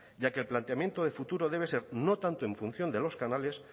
ya que el planteamiento de futuro debe ser no tanto en función de los canales